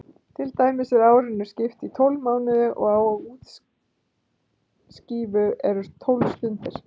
Til dæmis er árinu skipt í tólf mánuði og á úrskífu eru tólf stundir.